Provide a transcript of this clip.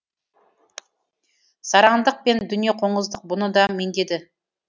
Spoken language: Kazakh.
сараңдық пен дүниеқоңыздық бұны да меңдеді